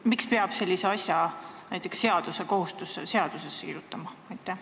Miks peab sellise asja seadusesse kirjutama?